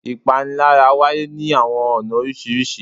Ìpanilára wáyé ni awọn ọna oriṣiriṣi